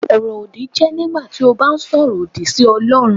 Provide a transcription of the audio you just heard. Ọ̀rọ̀-òdì jẹ́ nígbà tí o bá ń sọ̀rọ̀ lòdì sí Ọlọrun.